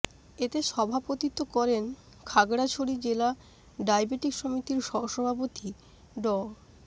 এতে সভাপতিত্ব করেন খাগড়াছড়ি জেলা ডায়েবেটিক সমিতির সহ সভাপতি ড